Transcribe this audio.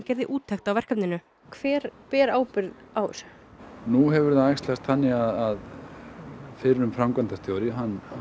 gerði úttekt á verkefninu hver ber ábyrgð á þessu nú hefur það æxlast þannig að fyrrum framkvæmdastjóri